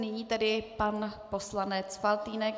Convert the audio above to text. Nyní tedy pan poslanec Faltýnek.